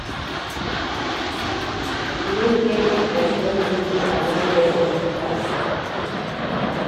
You no hear wen I tel you sey I wan get first class?